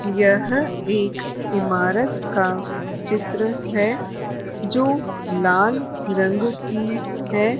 यह एक ईमारत का चित्र है जो लाल रंग की हैं।